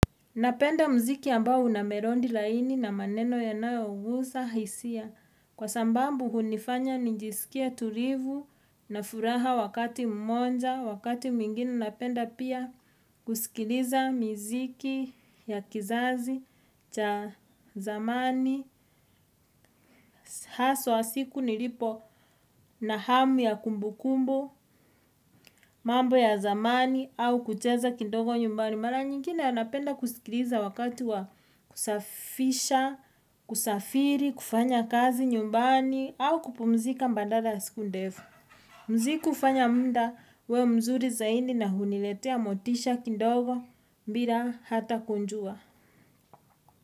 Napenda mziki ambao unamerodi laini na maneno yanayo guza hisia. Kwa sambambu hunifanya ninjisikie tulivu na furaha wakati mmoja. Wakati mmingini napenda pia kusikiliza mziki ya kizazi cha zamani. Haswa siku nilipo na hamu ya kumbukumbu, mambo ya zamani au kucheza kidogo nyumbani. Mara nyingine anapenda kusikiliza wakati wa kusafisha, kusafiri, kufanya kazi, nyumbani, au kupumzika badala ya siku ndefu. Mziki hufanya muda uwe mzuri zaidi na huniletea motisha, kidogo, bila hata kujua.